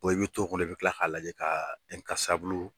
i bɛ to kɔnɔ, i bɛ kila k'a lajɛ kaaa